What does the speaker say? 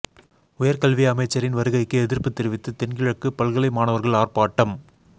உயர்கல்வி அமைச்சரின் வருகைக்கு எதிர்ப்பு தெரிவித்து தென்கிழக்குப் பல்கலை மாணவர்கள் ஆர்ப்பாட்டம்